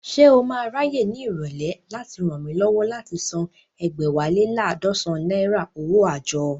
Ṣé o máa ráyè ní ìrọ̀lẹ́ láti ràn mí lọ́wọ́ láti san ẹ̀gbẹ́wá lé laadọsan náírà owó àjọ?